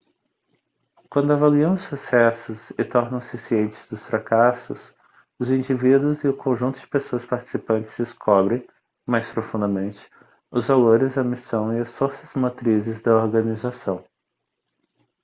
quando avaliam os sucessos e tornam-se cientes dos fracassos os indivíduos e o conjunto de pessoas participantes descobrem mais profundamente os valores a missão e as forças motrizes da organização